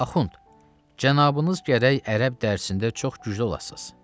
Axund, cənabınız gərək ərəb dərsində çox güclü olasız.